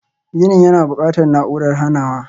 Ginin yana buƙatar na'urar hanawa.